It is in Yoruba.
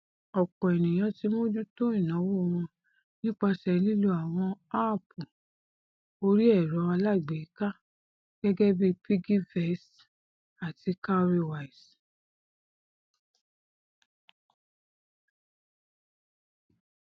ọpọ ènìyàn ti mójútó ìnáwó wọn nípasẹ lílò àwọn áàpù orí ẹrọ alágbèéká gẹgẹbí piggyvest àti cowrywise